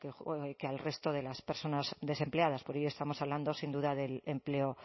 que al resto de las personas desempleadas por ello estamos hablando sin duda del empleo